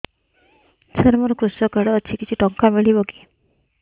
ସାର ମୋର୍ କୃଷକ କାର୍ଡ ଅଛି କିଛି ଟଙ୍କା ମିଳିବ କି